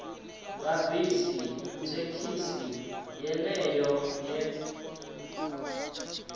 nga bisi thekhisi yeneyo ye